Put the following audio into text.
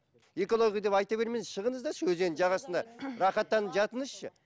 экология деп айта бермеңізші шығыңыздаршы өзеннің жағасына рахаттанып жатыңызшы